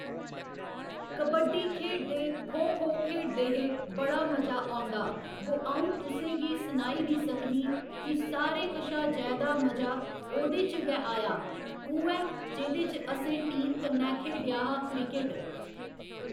कबड्डी खेढदे खो खो खेढदे हे बड़ा मजा औंदा बो अं'ऊ तुसें गी सनाई निं सकनी की सारें कशा जैदां मजा ओह्दे च गै आया उ'ऐ जेह्दे च असें टीम कन्नै खेढेआ हा क्रिकेट